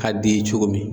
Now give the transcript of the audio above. Ka d'i ye cogo min